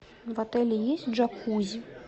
в отеле есть джакузи